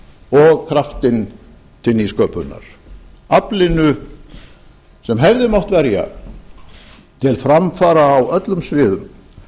og kraftinn til nýsköpunar aflinu sem hefði mátt verja til framfara á öllum sviðum